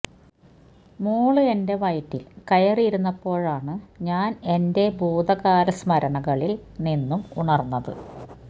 മോള് എന്റെ വയറ്റില് കയറി ഇരുന്നപോഴാണ് ഞാന് എന്റെ ഭൂതകാലസ്മരണകളില് നിന്നും ഉണര്ന്നത്